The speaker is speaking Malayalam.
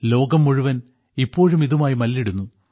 ലോകം മുഴുവൻ ഇപ്പോഴും ഇതുമായി മല്ലിടുന്നു